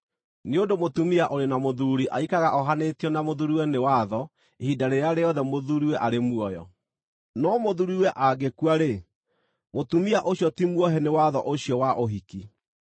Nĩ ũndũ mũtũmia ũrĩ na mũthuuri aikaraga ohanĩtio na mũthuuriwe nĩ watho ihinda rĩrĩa rĩothe mũthuuriwe arĩ muoyo; no mũthuuriwe angĩkua-rĩ, mũtumia ũcio ti muohe nĩ watho ũcio wa ũhiki.